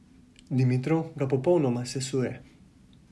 Dimitrov ga popolnoma sesuje.